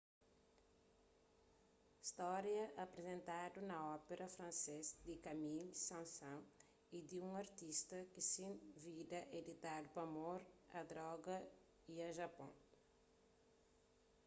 stória aprizentadu na ópera francês di camille saint-saens é di un artista ki se vida é ditadu pa amor a droga y a japon